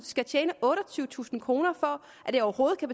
skal tjene otteogtyvetusind kr for at det overhovedet kan